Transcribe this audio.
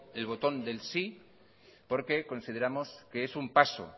el botón del sí porque consideramos que es un paso